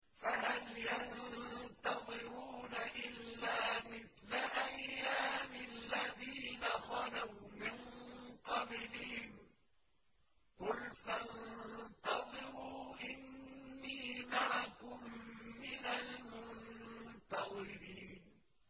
فَهَلْ يَنتَظِرُونَ إِلَّا مِثْلَ أَيَّامِ الَّذِينَ خَلَوْا مِن قَبْلِهِمْ ۚ قُلْ فَانتَظِرُوا إِنِّي مَعَكُم مِّنَ الْمُنتَظِرِينَ